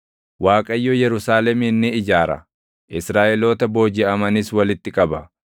Waaqayyo Yerusaalemin ni ijaara; Israaʼeloota boojiʼamanis walitti qaba.